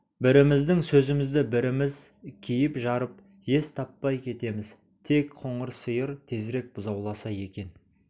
біріміздің сөзімізді біріміз киіп-жарып ес таппай кетеміз тек қоңыр сиыр тезірек бұзауласа екен